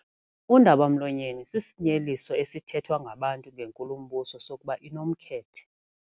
Undaba-mlonyeni sisinyeliso esithethwa ngabantu ngenkulumbuso sokuba inomkhethe.